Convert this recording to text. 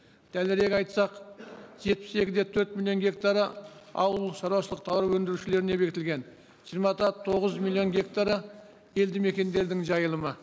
дәлірек айтсақ жетпіс екі де төрт миллион гектары ауыл шаруашылық тауар өндірушілеріне бекітілген жиырма да тоғыз миллион гектары елді мекендердің жайылымы